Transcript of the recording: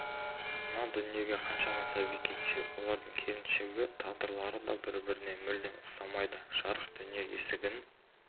мына дүниеге қаншама сәби келсе олардың келешектегі тағдырлары да бір-біріне мүлдем ұқсамайды жарық дүние есігін